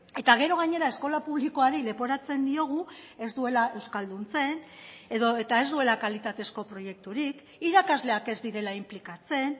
eta gero gainera eskola publikoari leporatzen diogu ez duela euskalduntzen edo eta ez duela kalitatezko proiekturik irakasleak ez direla inplikatzen